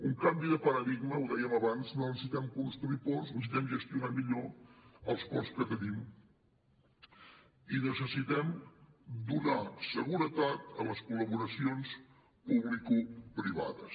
un canvi de paradigma ho dèiem abans no necessitem construir ports necessitem gestionar millor els ports que tenim i necessitem donar seguretat a les col·laboracions publicoprivades